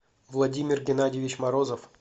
владимир геннадьевич морозов